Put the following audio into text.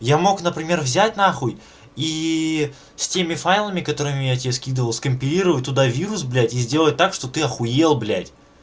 я мог например взять нахуй и с теми файлами которыми я тебе скидывал скомпилировать туда вирус блять и сделать так что ты ахуел блять